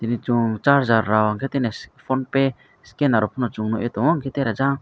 tini chong charger rok tini ass phone pay scener rok pono chong nog ye tongo hingke tere jang.